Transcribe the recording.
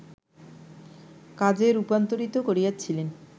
কাজে রূপান্তরিত করিয়াছিলেন